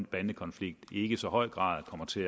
bandekonflikt ikke i så høj grad kommer til